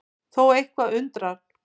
Þó er eitthvað undar